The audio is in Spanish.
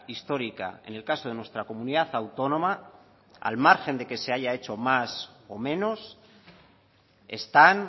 histórica en el caso de nuestra comunidad autónoma al margen de que se haya hecho más o menos están